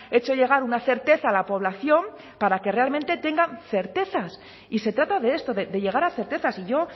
hecho llegar una certeza a la población para que realmente tengan certezas y se trata de esto de llegar a certezas y yo